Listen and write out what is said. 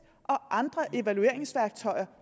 og andre evalueringsværktøjer